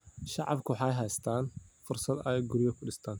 Shacabku waxay haystaan ??fursad ay guryo dhistaan.